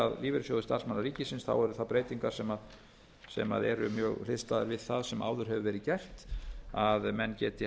að lífeyrissjóði starfsmanna ríkisins þá eru það breytingar sem eru mjög hliðstæðar við það sem áður hefur verið gert að menn geti